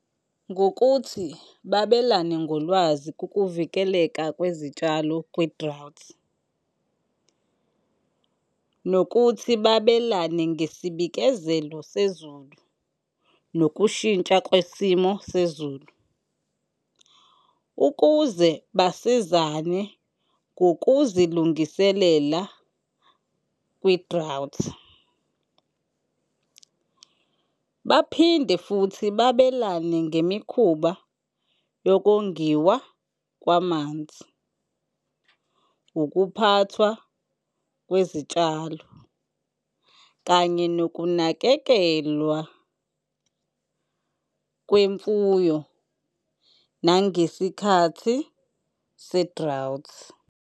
Ngokuthi babelane ngolwazi kukuvikeleka kwezitshalo kwi-drought, nokuthi babelane ngesibikezelo sezulu nokushintsha kwesimo sezulu ukuze basizane ngokuzilungiselela kwi-drought. Baphinde futhi babelane ngemikhuba yokongiwa kwamanzi, ukuphathwa kwezitshalo kanye nokunakekelwa kwemfuyo nangesikhathi se-drought.